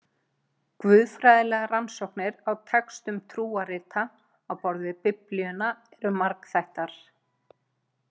Guðfræðilegar rannsóknir á textum trúarrita á borð við Biblíuna eru margþættar.